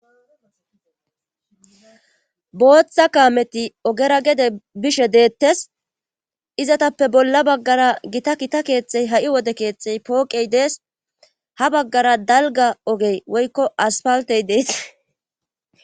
Booththa kaameti ogera gede bishe deettes izatappe bolla baggara gita kita keexxey ha7i wode keexxey pooqey dees ha baggara dalga ogey woykko aspawtey deesa